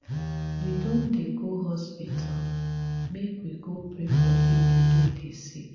we don dey go hospital make we go pray for pipu wey dey sick.